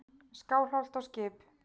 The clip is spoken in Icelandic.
Skálholt á skip.